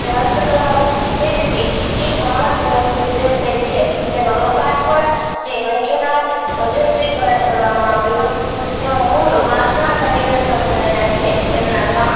સ્થિતિ e commers website છે તેનું લોકાર્પણ શ્રી મંજુનાથ ભજનસિંહ દ્વારા કરવામાં આવ્યું હતું તેઑ મૂળ વાસના કારીગર સમુદાય ના છે તેમના ગામમાં